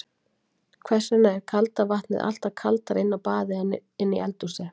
Hvers vegna er kalda vatnið alltaf kaldara inni á baði en í eldhúsi?